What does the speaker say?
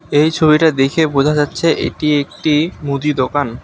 এই ছবিটা দেখে বোঝা যাচ্ছে এটি একটি মুদি দোকান।